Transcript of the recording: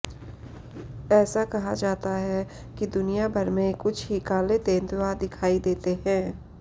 ऐसा कहा जाता है कि दुनियाभर में कुछ ही काले तेंदुआ दिखाई देते हैं